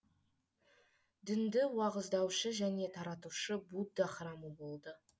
дінді уағыздаушы және таратушы будда храмы болды